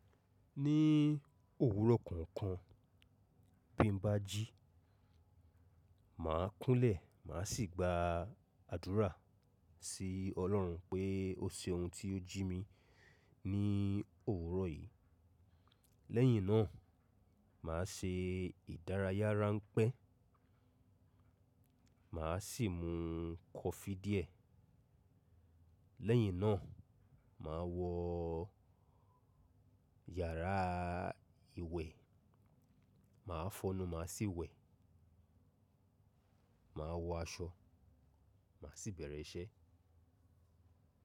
Ní òwúrọ̀ kọ̀ọ̀kan bí mo bá jí, màá kúnlẹ̀, màá sì gba àdúrà sí Ọlọ́run pé ó ṣeun tí ó jí mi ní òwúrọ̀ yìí. Lẹ́yìn náà, màá se ìdárayára ránpẹ́, màá sì mu kọfí díẹ̀. Lẹ́yìn náà, màá wọ yàrá ìwẹ̀, màá fọnu, màá sì wẹ̀. Màá wọ aṣọ, màá sì bẹ̀rẹ̀ iṣẹ́.